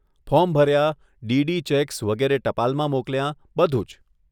Form ભર્યા, DD cheques વગેરે ટપાલમાં મોકલ્યાં, બધું જ.